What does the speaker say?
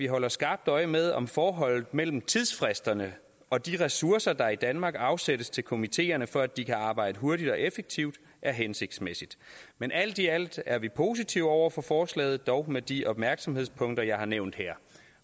holder skarpt øje med om forholdet mellem tidsfristerne og de ressourcer der i danmark afsættes til komiteerne for at de kan arbejde hurtigt og effektivt er hensigtsmæssigt men alt i alt er vi positive over for forslaget dog med de opmærksomhedspunkter jeg har nævnt her